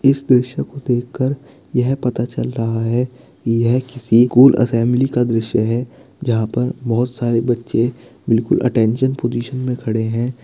इस दृश्य को देख क्रर यह पता चल रहा है यह किसी स्कूल असेम्ब्ली का दृश्य है जहाँ पर बहुत सरे बच्चे बिलकुल अटेंशन पोजीसन में खड़े है।